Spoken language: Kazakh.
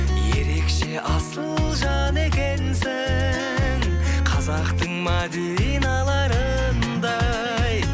ерекше асыл жан екенсің қазақтың мәдиналарындай